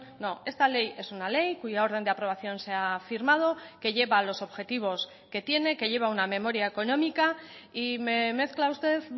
no esta ley es una ley cuya orden de aprobación se ha firmado que lleva los objetivos que tiene que lleva una memoria económica y me mezcla usted